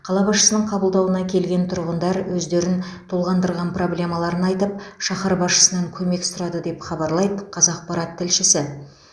қала басшысының қабылдауына келген тұрғындар өздерін толғандырған проблемаларын айтып шаһар басшысынан көмек сұрады деп хабарлайды қазақпарат тілшісі